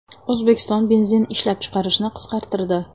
O‘zbekiston benzin ishlab chiqarishni qisqartirdi.